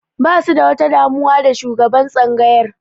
Basu da wata damuwa da shugaban tsangayar